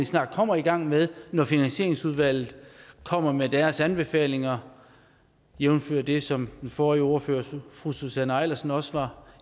snart kommer i gang med når finansieringsudvalget kommer med deres anbefalinger jævnfør det som den forrige ordfører fru susanne eilersen også var